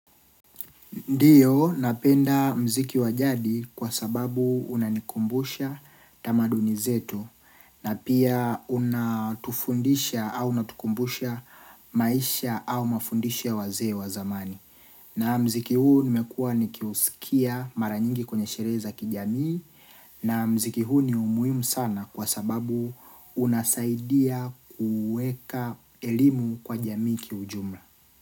Ndiyo napenda mziki wa jadi kwa sababu unanikumbusha tamaduni zetu na pia unatufundisha au unatukumbusha maisha au mafundisho ya wazee wa zamani. Na mziki huu nimekuwa nikiusikia maranyingi kwenye sherehe za kijamii na mziki huu ni umuhimu sana kwa sababu unasaidia kuweka elimu kwa jamii kiujumla.